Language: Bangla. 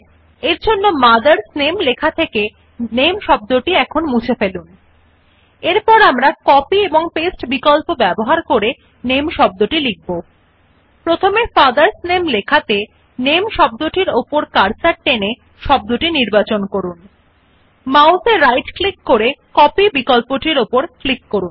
আমরা এখন টেক্সট মথার্স নামে থেকে শব্দটি কি নামে মুছে ফেলা এবং শব্দ নামে অনুলিপি এবং প্রতিলেপন করা বিকল্পগুলি ব্যবহার করে লেখা now we delete the word name from the text mothers name and rewrite the word name using copy and paste options In the text fathers name first select the word name by dragging the cursor along the word NAME এখন ডান মাউস ক্লিক করে কপি বিকল্প উপর ক্লিক করুন